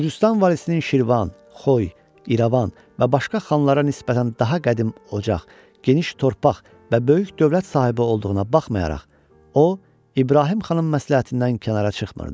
Gürcüstan valisinin Şirvan, Xoy, İrəvan və başqa xanlara nisbətən daha qədim ocaq, geniş torpaq və böyük dövlət sahibi olduğuna baxmayaraq, o, İbrahim xanın məsləhətindən kənara çıxmırdı.